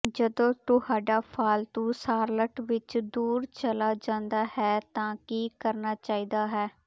ਜਦੋਂ ਤੁਹਾਡਾ ਪਾਲਤੂ ਸ਼ਾਰ੍ਲਟ ਵਿਚ ਦੂਰ ਚਲਾ ਜਾਂਦਾ ਹੈ ਤਾਂ ਕੀ ਕਰਨਾ ਚਾਹੀਦਾ ਹੈ